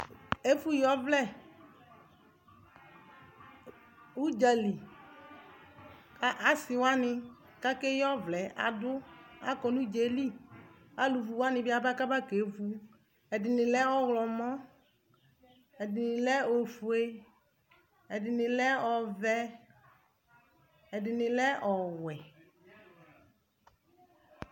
Ɛfʋ yi ɔvlɛ : ʋdzali ka asɩwanɩ kakeyi ɔvlɛɛ abʋ akɔ n'ʋdzaɛli Eluviwani bɩ aba kabaakevu Ɛdɩnɩ lɛ ɔɣlɔmɔ ɛdɩnɩ lɛ ofue , ɛdɩnɩ lɛ ɔvɛ, ɛdɩnɩ lɛ ɔwɛ